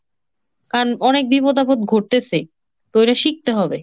কারণ অনেক বিপদ আপদ ঘটতেছে, তো এইটা শিখতে হবে।